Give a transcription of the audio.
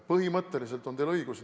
Põhimõtteliselt on teil õigus.